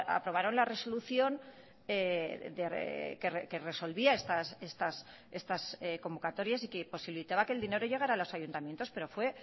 aprobaron la resolución que resolvía estas convocatorias y que posibilitaba que el dinero llegara a los ayuntamientos pero fue